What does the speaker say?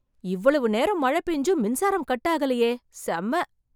இவ்வளவு நேரம் மழை பேஞ்சும் மின்சாரம் கட் ஆகலையே! செம்ம!